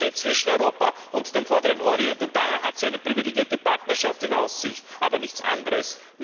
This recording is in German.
Aber sie steht zwischen Europa und dem Vorderen Orient und daher hat sie eine privilegierte Partnerschaft in Aussicht, aber nichts anderes!